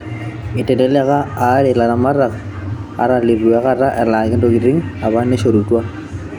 Eiteleleka alaare olaramatak ata leitu akata elaki intokitini apa naishorutwa.